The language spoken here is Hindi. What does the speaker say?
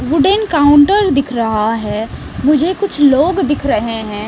वुडन काउंटर दिख रहा है मुझे कुछ लोग दिख रहे हैं।